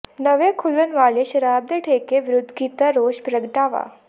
ਨਵੇਂ ਖੁੱਲ੍ਹਣ ਵਾਲੇ ਸ਼ਰਾਬ ਦੇ ਠੇਕੇ ਵਿਰੁੱਧ ਕੀਤਾ ਰੋਸ ਪ੍ਰਗਟਾਵਾ